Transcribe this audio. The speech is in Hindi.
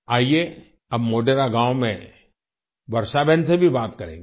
आइये अब मोढेरा गाँव में वर्षा बहन से भी बात करेंगे